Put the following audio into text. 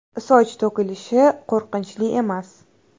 Soch to‘kilishi qo‘rqinchli emas!